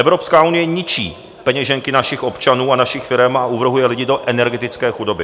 Evropská unie ničí peněženky našich občanů a našich firem a uvrhuje lidi do energetické chudoby.